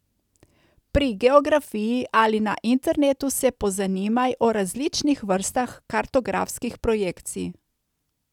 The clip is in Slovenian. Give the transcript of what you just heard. Pri geografiji ali na internetu se pozanimaj o različnih vrstah kartografskih projekcij.